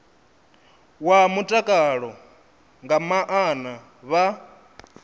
wa mutakalo nga maana vha